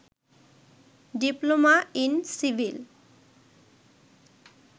diploma in civil